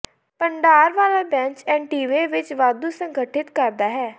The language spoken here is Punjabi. ਭੰਡਾਰ ਵਾਲਾ ਬੈਂਚ ਐਂਟੀਵੇਅ ਵਿੱਚ ਵਾਧੂ ਸੰਗਠਿਤ ਕਰਦਾ ਹੈ